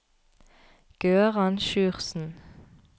Gøran Sjursen